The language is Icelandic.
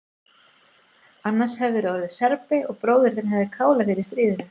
Annars hefðirðu orðið Serbi og bróðir þinn hefði kálað þér í stríðinu.